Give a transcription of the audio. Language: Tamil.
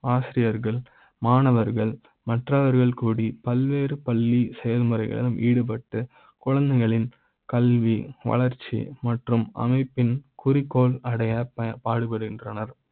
ஆசிரியர்கள் மாணவர்கள் மற்ற வர்கள் கூடி பல்வேறு பள்ளி செயல்முறைகள் ஈடுபட்ட குழந்தைகளின் கல்வி வளர்ச்சி மற்றும் அமைப்பின் குறிக்கோள் அடைய பாடுபடுகின்றனர்